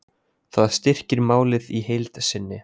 Það styrkir málið í heild sinni